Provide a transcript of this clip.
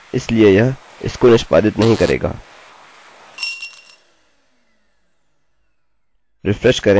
refresh करें यह चला गया है